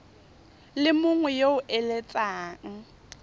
le mongwe yo o eletsang